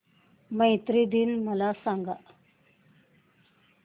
मैत्री दिन मला सांगा